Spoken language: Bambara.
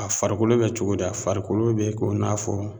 A farikolo bɛ cogo di? A farikolo bɛ ko n'a fɔ